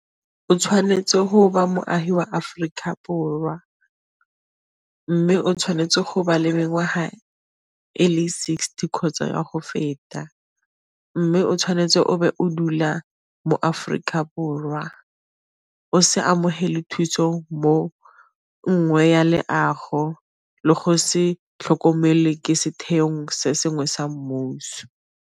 O tshwanetse go ba moagi wa Aforika Borwa, mme o tshwanetse go ba le mengwaga e le sixty kgotsa go feta, mme o tshwanetse o be o dula mo Aforika Borwa o se amogele thuso mo nngwe ya leago le go se tlhokomele ke setheong se sengwe sa mmuso.